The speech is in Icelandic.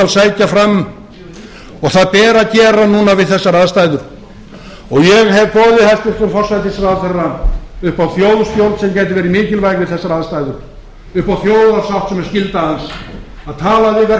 sækja fram og það ber að gera núna við þessar aðstæður ég hef boðið hæstvirtur forsætisráðherra upp á þjóðstjórn sem gæti verið mikilvæg við þessar aðstæður upp á þjóðarsátt sem er skylda hans að tala við